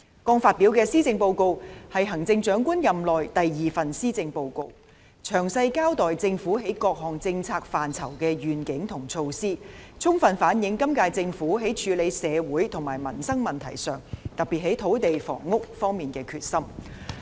剛發表的施政報告是行政長官任內的第二份施政報告，詳細交代政府在各政策範疇的願景和措施，充分反映今屆政府在處理社會和民生問題上，特別是在土地和房屋方面的決心。